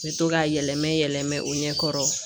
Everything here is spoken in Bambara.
N bɛ to k'a yɛlɛma yɛlɛmɛ o ɲɛkɔrɔ